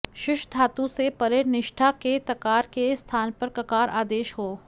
शुष् धातु से परे निष्ठा के तकार के स्थान पर ककार आदेश हो